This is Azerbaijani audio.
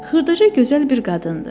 Xırdaca gözəl bir qadındır.